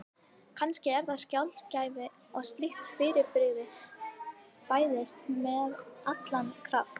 Kannski er það sjaldgæft að slíkt fyrirbrigði fæðist með allan þennan kraft.